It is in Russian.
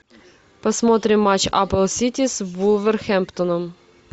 посмотрим матч апл сити с вулверхэмптоном